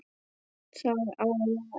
Það á að vera erfitt.